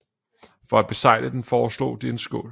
For at besegle den foreslog de en skål